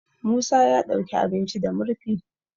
musa ya ɗauki abinci ba murfi